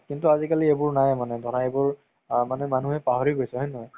কিন্তু আজিকালি এইবোৰ নাই মানে ধৰা এইবোৰ আ মানুহে পাহৰি গৈছে হয় নে নহয়